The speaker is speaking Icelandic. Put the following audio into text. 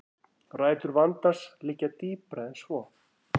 Rætur vandans liggja dýpra en svo